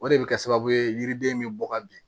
O de bɛ kɛ sababu ye yiriden bɛ bɔ ka bin